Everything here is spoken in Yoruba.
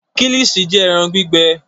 Kílìṣí jẹ́ ẹran gbígbẹ.